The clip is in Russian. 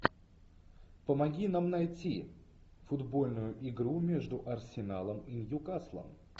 помоги нам найти футбольную игру между арсеналом и ньюкаслом